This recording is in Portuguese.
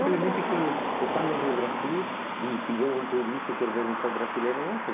no Brasil. Simplesmente que estamos no Brasil e se vê um turista e quer ver um show brasileiro, não tem.